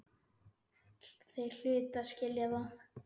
Þeir hlutu að skilja það.